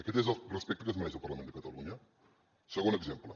aquest és el respecte que es mereix el parlament de catalunya segon exemple